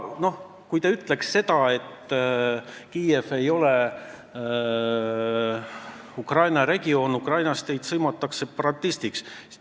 Kui te ütleks, et Kiiev ei ole Ukraina regioon, siis sõimataks teid Ukrainas separatistiks.